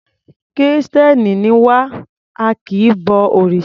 Kìrìstẹ́ni ni wá, a kì í bo òrìsà.